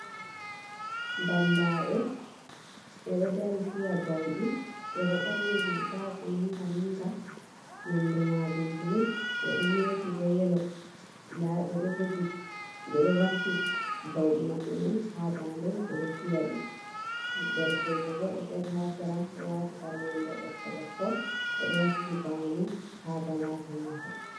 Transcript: Bambaɓe ɓe ɗo dari fiya bauɗi, ɓe ɗo ɓorni rigaji manga manga nonde majum bulu, ɓe ɗo meti bo yelo. Nda ɓe ɗo jogi, ɓe ɗo vakki bauɗi maɓɓe mai ha dande ɓe ɗo fiyaɗi, derkejo bo ɗo dari ha sera, ɗo wati kare nonde ɓokko ɓokko, o ɗo wakki bano ha balaje mako.